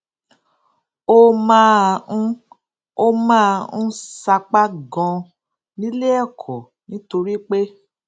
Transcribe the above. ó máa ń ó máa ń sapá ganan níléẹkọ nítorí pé